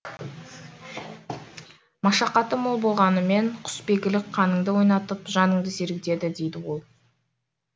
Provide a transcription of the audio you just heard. машақаты мол болғанымен құсбегілік қаныңды ойнатып жаныңды сергітеді дейді ол